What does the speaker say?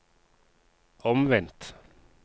omvendt